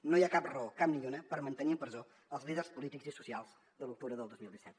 no hi ha cap raó cap ni una per mantenir en presó els líders polítics i socials de l’octubre del dos mil disset